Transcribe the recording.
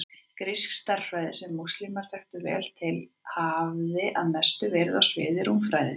Grísk stærðfræði, sem múslímar þekktu vel til, hafði að mestu verið á sviði rúmfræði.